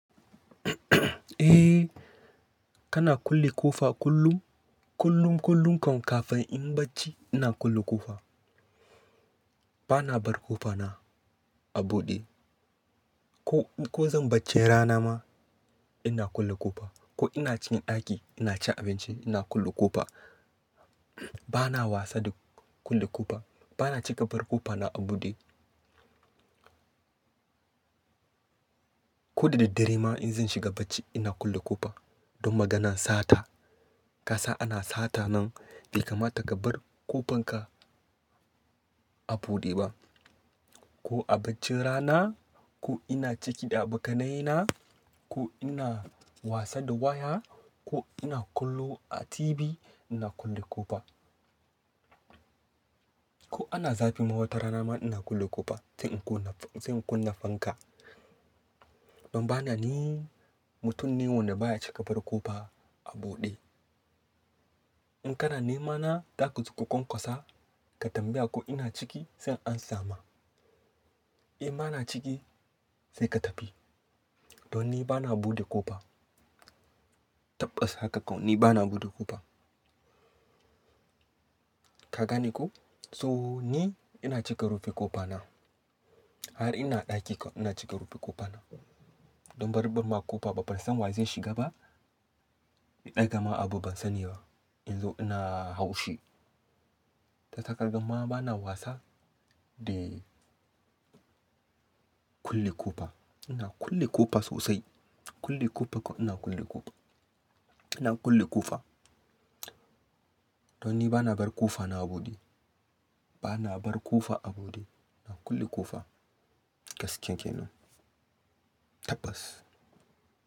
Kana kulle ƙofa kullum, kullum, kullum kan kafin in bacci ina kulle ƙofa. Bana bar ƙofana a buɗe. Ko, ko zan bacci rana ma ina kulle ƙofa. Ko ina cikin ɗaki ina cin abinci ina kulle ƙofa. Bana wasa da kulle ƙofa. Bana cika bar ƙofana a buɗe. Ko da diddire ma in zan shiga bacci ina kulle ƙofa. Don maganan sata. Kasa ana sata nan bai kamata ka bar ƙofanka a buɗe ba. Ko a bacin rana, ko ina ciki da abokanayena, ko ina wasa da waya, ko ina kallo a TV ina kulle ƙofa. Ko ana zafi mahota rana ma ina kulle ƙofa. Sai in kunna, sai in kunna fanka. Don bana ni mutum ne wanda baya cika bar ƙofa a buɗe. In kana nemana, zakazo ka kwankwasa ka tambaya ko ina ciki sai an samu. In bana ciki sai ka tafi. Don ni bana buɗe ƙofa. Tabbas haka kawai ni bana buɗe ƙofa. Ka gani ko? So ni ina cika rufi ƙofana. Har ina ɗaki kawai ina cika rufi ƙofana. Don bari birma ƙofa ba ban san wa zai shiga ba. Ni ɗaga ma abu ban sani ba. In zo ina hau shi. Ta sakar gama bana wasa da kulle ƙofa. Ina kulle ƙofa sosai. Kulle ƙofa kawai ina kulle ƙofa. Ina kulle ƙofa. Don ni bana bar ƙofana a buɗe. Bana bar ƙofa a buɗe. Ina kulle ƙofa gaskiya kenan. Tabbas.